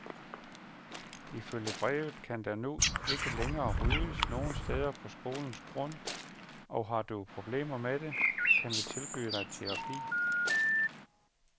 Ifølge brevet kan der nu ikke længere ryges nogen steder på skolens grund, og har du problemer med det, kan vi tilbyde dig terapi.